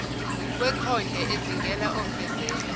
wekhonde ezingela ofezela